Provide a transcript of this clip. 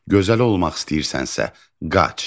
Gözəl olmaq istəyirsənsə, qaç.